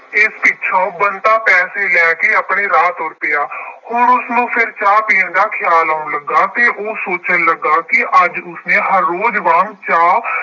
ਇਸ ਪਿੱਛੋਂ ਬੰਤਾ ਪੈਸੇ ਲੈ ਕੇ ਆਪਣੇ ਰਾਹ ਤੁਰ ਪਿਆ। ਹੁਣ ਉਸਨੂੰ ਫੇਰ ਚਾਹ ਪੀਣ ਦੀ ਖਿਆਲ ਆਉਣ ਲੱਗਾ ਅਤੇ ਉਹ ਸੋਚਣ ਲੱਗਾ ਕਿ ਅੱਜ ਉਸਨੇ ਹਰ ਰੋਜ਼ ਵਾਂਗ ਚਾਹ